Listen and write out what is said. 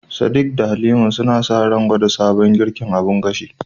Sadiq da Halima suna sa ran gwada sabon girkin abun gashi